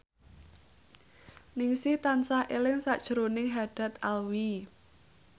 Ningsih tansah eling sakjroning Haddad Alwi